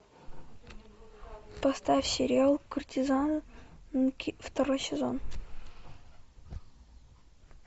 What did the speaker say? поставь сериал куртизанки второй сезон